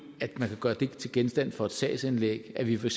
at man kan gøre det til genstand for et sagsanlæg at vi for